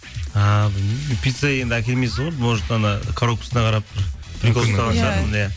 а пицца енді әкелмейсіз ғой может анау коробкасына қарап бір иә